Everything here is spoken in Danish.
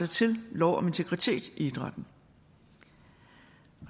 til lov om integritet i idrætten vi